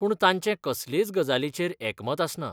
पूण तांचें कसलेच गजालीचेर एकमत आसना.